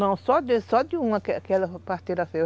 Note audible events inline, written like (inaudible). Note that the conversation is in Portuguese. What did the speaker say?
Não, só de só de uma, aquela parteira (unintelligible)